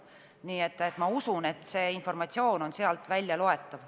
Nii et ma usun, et see informatsioon on sealt väljaloetav.